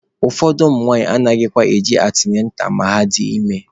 Ụfọdụ ụmụnwaanyị anaghịkwa eje antịnantal ma ha dị ime.